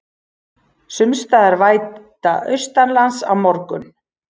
Sums staðar væta austanlands á morgun